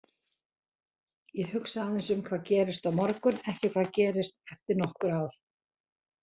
Ég hugsa aðeins um hvað gerist á morgun, ekki hvað gerist eftir nokkur ár.